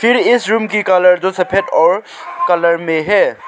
इस रूम की कलर जो सफेद और कलर में है।